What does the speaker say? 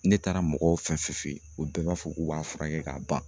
Ne taara mɔgɔw fɛ yen o bɛɛ b'a fɔ k'u b'a furakɛ k'a ban